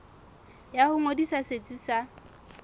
ya ho ngodisa setsi sa